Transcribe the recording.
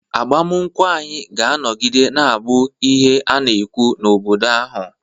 agbamakwụkwọ anyị ga-anọgide na-abụ ihe a na-ekwu n'obodo ahụ